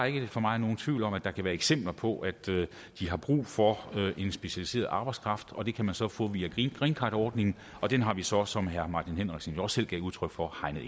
ikke for mig nogen tvivl om at der kan være eksempler på at de har brug for en specialiseret arbejdskraft og det kan man så få via greencardordningen og den har vi så som herre martin henriksen jo også selv gav udtryk for hegnet